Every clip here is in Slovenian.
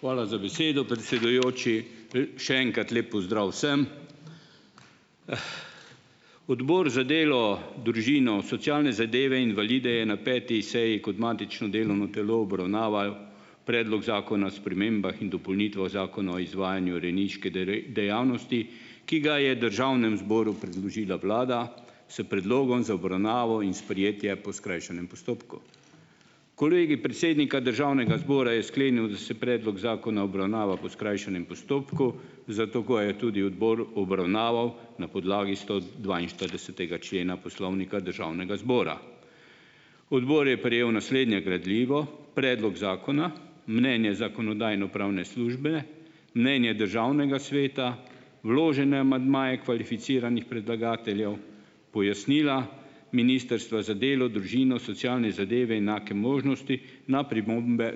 Hvala za besedo, predsedujoči. Še enkrat lep pozdrav vsem. Odbor za delo, družino, socialne zadeve, invalide je na peti seji kot matično delovno telo obravnaval Predlog zakona spremembah in dopolnitvah Zakona o izvajanju rejniške dejavnosti, ki ga je državnemu zboru predložila vlada, s predlogom za obravnavo in sprejetje po skrajšanem postopku. Kolegij predsednika državnega zbora je sklenil, da se predlog zakona obravnava po skrajšanem postopku, zato ga je tudi odbor obravnaval na podlagi stodvainštiridesetega člena Poslovnika Državnega zbora. Odbor je prejel naslednje gradivo: predlog zakona, mnenje Zakonodajno-pravne službe, mnenje Državnega sveta, vložene amandmaje kvalificiranih predlagateljev, pojasnila ministrstva za delo, družino, socialne zadeve, enake možnosti na pripombe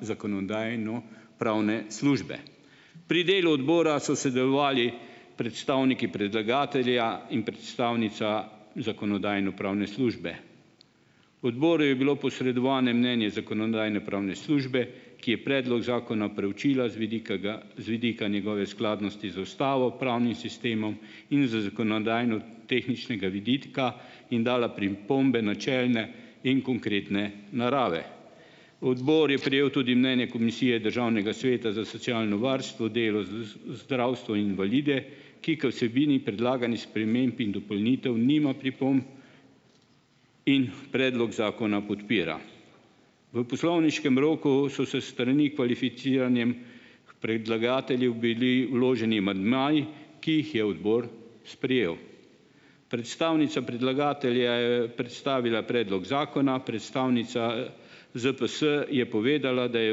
Zakonodajno-pravne službe. Pri delu odbora so sodelovali predstavniki predlagatelja in predstavnica Zakonodajno-pravne službe. Odboru je bilo posredovane mnenje Zakonodajno-pravne službe, ki je predlog zakona preučila z vidika z vidika njegove skladnosti z ustavo, pravnim sistemom in z zakonodajnotehničnega vidika in dala pripombe načelne in konkretne narave. Odbor je prejel tudi mnenje Komisije Državnega sveta za socialno varstvo, delo, zdravstvo in invalide, ki k vsebini predlaganih sprememb in dopolnitev nima pripomb in predlog zakona podpira. V poslovniškem roku so se s strani kvalificiranih predlagateljev bili vloženi amandmaji, ki jih je odbor sprejel. Predstavnica predlagatelja je predstavila predlog zakona, predstavnica ZPS je povedala, da je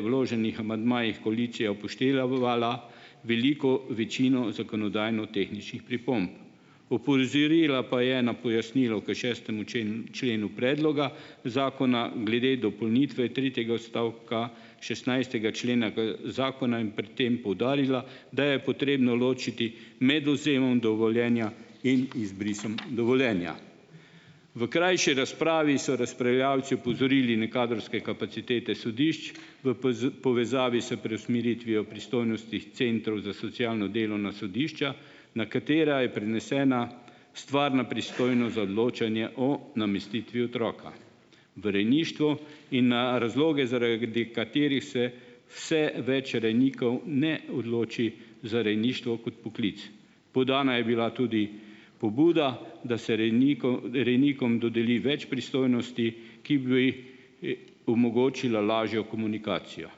vloženih amandmajih koalicija upoštevala veliko večino zakonodajnotehničnih pripomb. Opozorila pa je na pojasnilo k šestemu členu členu predloga zakona glede dopolnitve tretjega odstavka šestnajstega člena zakona in pri tem poudarila, da je potrebno ločiti med odvzemom dovoljenja in izbrisom dovoljenja. V krajši razpravi so razpravljavci opozorili na kadrovske kapacitete sodišč v povezavi s preusmeritvijo pristojnosti centrov za socialno delo na sodišča, na katera je prenesena stvarna pristojnost za odločanje o namestitvi otroka v rejništvu in na razloge, zaradi katerih se vse več rejnikov ne odloči za rejništvo kot poklic. Podana je bila tudi pobuda, da se rejnikov rejnikom dodeli več pristojnosti, ki bi, omogočile lažjo komunikacijo.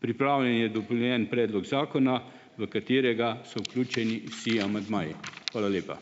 Pripravljen je dopolnjen predlog zakona, v katerega so vključeni vsi amandmaji. Hvala lepa.